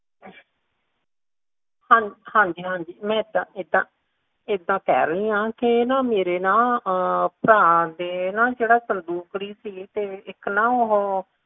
ਹਾਂਜੀ ਹਾਂਜੀ ਮੈਂ ਇੱਦਾਂ ~ਇੱਦਾਂ ਕਹਿ ਰਹੀ ਆ ਕੇ ਨਾ ਮੇਰੇ ਨਾ ਅਮ ਭਰਾ ਦੇ ਨਾ ਜਿਹੜੇ ਇੱਕ ਸੰਦੂਕੜੀ ਸੀਗੀ ਨਾ ਤੇ ਇੱਕ ਨਾ ਉਹ